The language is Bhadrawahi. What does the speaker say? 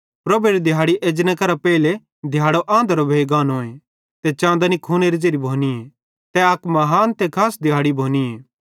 प्रभुएरी दिहाड़ी एजने करां पेइले दिहाड़ो आंधरो भोइ गानोए ते चाँदनी खूनेरी ज़ेरी भोनीए तै अक महान ते खास दिहाड़ी भोनीए